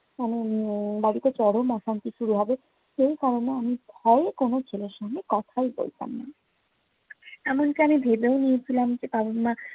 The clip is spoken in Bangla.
আমার উম বাড়িতে চরম অশান্তি শুরু হবে, সেই কারণে আমি ভয়ে কোনো ছেলের সঙ্গে কথাই বলতাম না। এমনটা আমি ভেবেও নিয়েছিলাম যে, বাবা মা